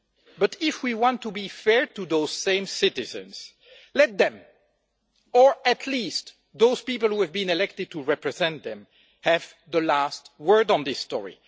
But if we want to be fair to those same citizens, let them, or at least those people who have been elected to represent them, have the last word on this story.